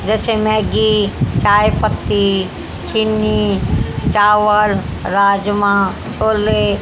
जैसे मैगी चाय पत्ती चीनी चावल राजमा छोले--